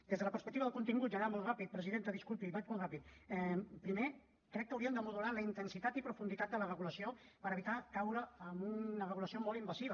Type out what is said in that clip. des de la perspectiva del contingut i anant molt ràpidament presidenta disculpi vaig molt ràpidament primer crec que hauríem de modular la intensitat i profunditat de la regulació per evitar caure en una regulació molt invasiva